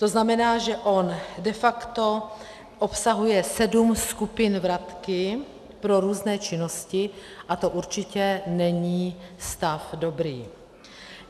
To znamená, že on de facto obsahuje sedm skupin vratky pro různé činnosti, a to určitě není stav dobrý.